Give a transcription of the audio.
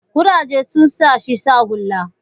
kurajen sun sa shi sa hula